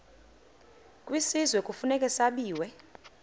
kwisizwe kufuneka zabiwe